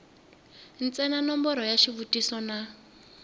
ntsena nomboro ya xivutiso na